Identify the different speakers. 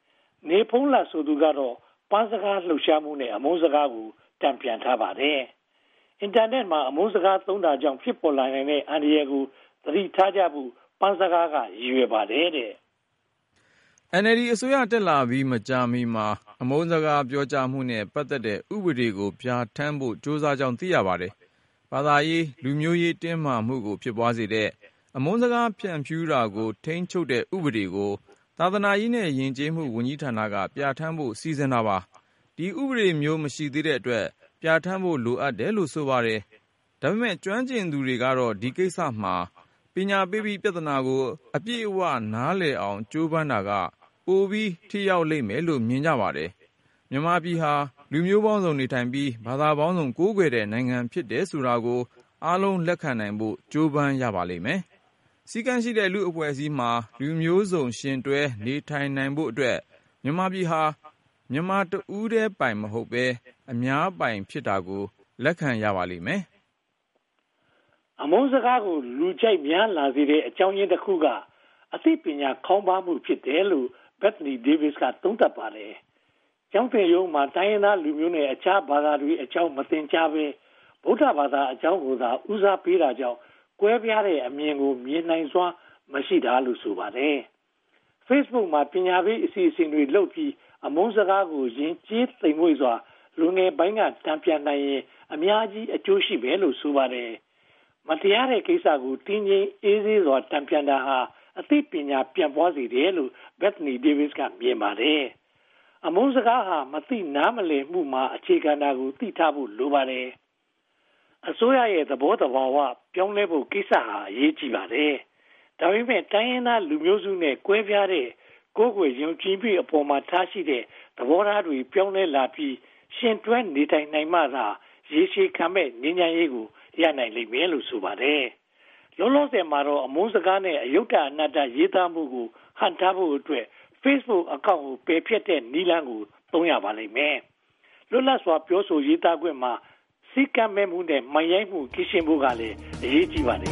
Speaker 1: ။ နေဘုန်းလတ် ဆိုသူကတော့ ‘ပန်းစကား’ လှုပ်ရှားမှုနဲ့ တန်ပြန်ထားပါတယ်။ Internet မှာ အမုန်းစကားသုံးတာကြောင့် ဖြစ်ပေါ်လာနိုင်တဲ့ အန္တရာယ်ကို သတိထားကြဖို့ ပန်းစကားက ရည်ရွယ်ပါတယ်တဲ့
Speaker 2: ။ NLD အစိုးရ တက်လာပြီး မကြာမီမှာ အမုန်းစကား ပြောကြားမှုနဲ့ ပတ်သက်တဲ့ ဥပဒေကို ပြဌာန်းဖို့ ကြိုးစားကြောင်း သိရှိရပါတယ်။ ဘာသာရေး၊ လူမျိုးရေး တင်းမာမှုကို ဖြစ်ပွားစေတဲ့ အမုန်းစကား ဖြန့်ဖြူးမှုကို ထိန်းချုပ်တဲ့ဥပဒေကို ဘာသာရေးနဲ့ ယဉ်ကျေးမှု ဝန်ကြီးဌာနက ပြဌာန်းဖို့ စီစဉ်တာပါ။ ဒီဥပဒေမျိုး မရှိသေးတဲ့အတွက် ပြဌာန်းဖို့ လိုအပ်တယ်လို့ ဆိုပါတယ်။ ဒါပေမဲ့ ကျွမ်းကျင်သူတွေကတော့ ဒီကိစ္စမှာ ပညာပေးပြီး ပြဿနာကို အပြည့်အဝနားလည်အောင် ကြိုးပမ်းတာက ပိုပြီးထိရောက်တယ်လို့ မြင်ကြပါတယ်။ မြန်မာပြည်ဟာ လူမျိုးပေါင်းစုံနေထိုင်ပြီး ဘာသာပေါင်းစုံ ကိုးကွယ်တဲ့ နိုင်ငံဖြစ်တယ်ဆိုတာကို အားလုံးလက်ခံနိုင်ဖို့ ကြိုးပမ်းရပါလိမ့်မယ်။ စည်းကမ်းရှိတဲ့ လူ့အဖွဲ့အစည်းမှာ လူမျိုးစုံယှဉ်တွဲ နေထိုင်နိုင်ဖို့အတွက် မြန်မာပြည်ဟာ မြန်မာတဦးတည်းပိုင် မဟုတ်ဘဲ အများပိုင် ဖြစ်တာကို လက်ခံရပါလိမ့်မယ်
Speaker 1: ။ အမုန်းစကားကို လူကြိုက်များလာစေတဲ့ အကြောင်းရင်းတခုက အသိပညာခေါင်းပါးမှု ဖြစ်တယ်လို့ Bethany Davis က သုံးသပ်ပါတယ်။ ကျောင်းသင်ရိုးမှာ တိုင်းရင်းသားလူမျိုးနဲ့ အခြားဘာသာတွေ မသင်ကြားဘဲ ဗမာ ဗုဒ္ဓဘာသာအကြောင်းကိုသာ ဦးစားပေးသင်တာကြောင့် ကွဲပြားတဲ့အမြင်ကို မြင်နိုင်စွမ်းမရှိ ဖြစ်နေတာလို့ ဆိုပါတယ်။ Facebook မှာ ပညာပေးအစီအစဉ်တွေလုပ်ပြီး အမုန်းစကားကို ယဉ်ကျေးသိမ့်မွေ့စွာ လူငယ်ပိုင်းက တန်ပြန်နိုင်ရင် အများကြီး အကျိုးရှိမယ်လို့ ဆိုပါတယ်။ မတရားတဲ့ကိစ္စကို တည်ငြိမ်အေးဆေးစွာ တန်ပြန်တာဟာ အသိပညာပြန့်ပွားစေတယ်လို့ Bethany Davis က သုံးသပ်ပါတယ်။ အမုန်းစကားဟာ မသိနားလည်မှုအပေါ်မှာ အခြေခံတာကို သိထားဖို့လိုပါတယ်။ အစိုးရရဲ့ သဘောသဘာဝပြောင်းလဲဖို့ ကိစ္စဟာ အရေးကြီးပါတယ်။ ဒါပေမဲ့ တိုင်းရင်းသားလူမျိုးစုနဲ့ ကွဲပြားတဲ့ ကိုးကွယ်ယုံကြည်မှုအပေါ်ထားရှိတဲ့ သဘောထားတွေ ပြောင်းလဲလာပြီး ယှဉ်တွဲနေထိုင်နိုင်မှသာ ရေရှည်ခံမယ့် ငြိမ်းချမ်းရေးကို ရနိုင်လိမ့်မယ်လို့ ဆိုပါတယ်။ လောလောဆယ်မှာတော့ အမုန်းစကားနဲ့ အယုတ္တအနတ္တ ရေးသားမှုကို ဟန့်တားဖို့အတွက် Facebook Account ပယ်ဖျက်တဲ့ နည်းလမ်းကိုသာ သုံးရပါလိမ့်မယ်။ လွတ်လပ်စွာ ပြောဆိုရေးသားခွင့်မှာ စည်းမဲ့ကမ်းမဲ့နဲ့ မိုက်ရိုင်းမှု ကင်းရှင်းဖို့ကလည်း အရေးကြီးပါတယ်